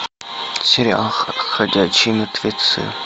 сериал ходячие мертвецы